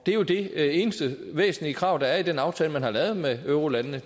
er jo det eneste væsentlige krav der er i den aftale man har lavet med eurolandene